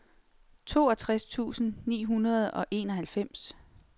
toogtres tusind ni hundrede og enoghalvfems